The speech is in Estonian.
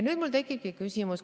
Nüüd tekibki mul küsimus.